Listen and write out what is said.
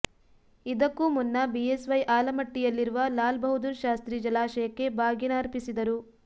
ಇದಕ್ಕೂ ಮುನ್ನ ಬಿಎಸ್ವೈ ಆಲಮಟ್ಟಿಯಲ್ಲಿರುವ ಲಾಲ್ಬಹದ್ದೂರ್ ಶಾಸ್ತ್ರಿ ಜಲಾಶಯಕ್ಕೆ ಬಾಗಿನ ಅರ್ಪಿಸಿದರು